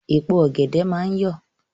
Èpo ọ̀gẹ̀dẹ̀ máa ń yọ̀.